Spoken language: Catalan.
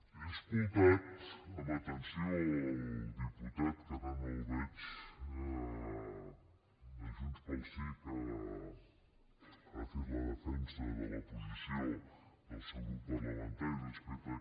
he escoltat amb atenció el diputat que ara no el veig de junts pel sí que ha fet la defensa de la posició del seu grup parlamentari respecte a